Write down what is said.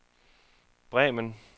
Bremen